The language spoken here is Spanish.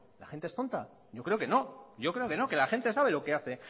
la gente es tonta yo creo que no yo creo que no que la gente sabe lo que hace